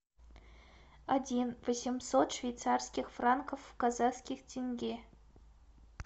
один восемьсот швейцарских франков в казахских тенге